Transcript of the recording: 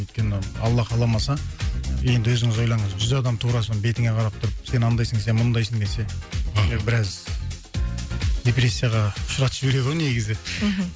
өйткені алла қаламаса енді өзіңіз ойлаңыз жүз адам тура сол бетіңе қара тұрып сен анандайсың сен мұндайсың десе мхм біраз депрессияға ұшыратып жібереді ғой негізі мхм